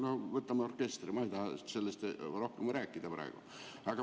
Võtame näiteks orkestri, aga ma ei taha sellest praegu rohkem rääkida.